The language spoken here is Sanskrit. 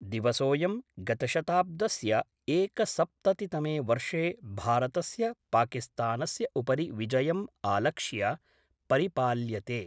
दिवसोऽयम् गतशताब्दस्य एकसप्ततितमे वर्षे भारतस्य पाकिस्तानस्य उपरि विजयम् आलक्ष्य परिपाल्यते।